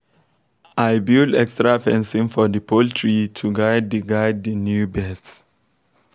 i build extra fencing for the poultry to guide the guide the new birds